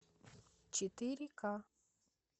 четыре ка